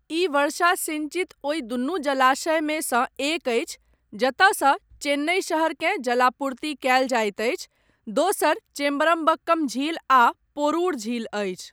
ई वर्षा सिंचित ओहि दुनू जलाशयमे सँ एक अछि जतयसँ चेन्नई शहरकेँ जलापूर्ति कयल जाइत अछि, दोसर चेम्बरमबक्कम झील आ पोरुर झील अछि।